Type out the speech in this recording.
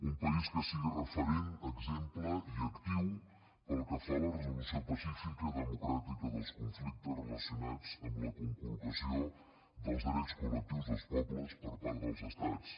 un país que sigui referent exemple i actiu pel que fa a la resolució pacífica i democràtica dels conflictes relacionats amb la conculcació dels drets col·lectius dels pobles per part dels estats